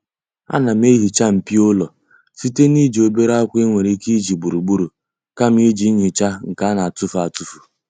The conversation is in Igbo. Ana m ehiicha mpio ụlọ site n'iji obere akwa e nwere ike iji ugboro ugboro kama iji ihe nhicha nke a na-etufu etufu.